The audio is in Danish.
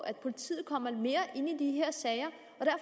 at politiet kommer mere ind i de her sager